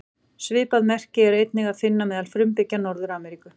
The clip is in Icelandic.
Svipað merki er einnig að finna meðal frumbyggja Norður-Ameríku.